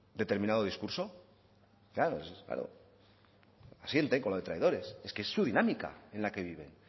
determinado discurso claro asiente con lo de traidores es que es su dinámica en la que viven